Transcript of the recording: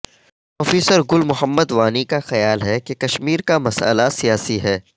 professor Gul Mohammad Wani کا خیال ہے کہ کشمیر کا مسئلہ سیاسی ہے